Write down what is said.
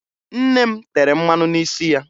Nne m tere mmanụ n'isi ya